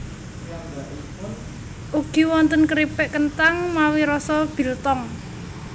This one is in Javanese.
Ugi wonten keripik kenthang mawi rasa biltong